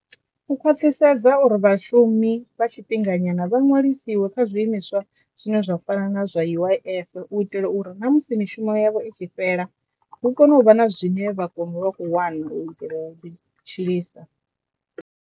U khwaṱhisedza uri vhashumi vha tshifhinganyana vha ṅwalisiwe kha zwiimiswa zwine zwa fana na zwa U_I_F u itela uri na musi mishumo yavho i tshi fhela hu kone u vha na zwine vha kono u vha kho wana u itela u ḓi tshilisa.